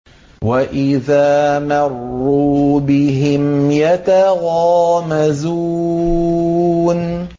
وَإِذَا مَرُّوا بِهِمْ يَتَغَامَزُونَ